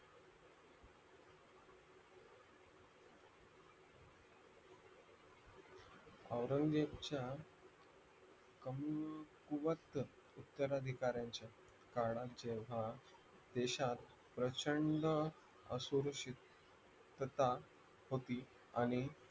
औरंगच्या कमकुवत उत्तर अधिकारांच्या काळाच्या हा देशात प्रचंड असुरक्षित तथा होती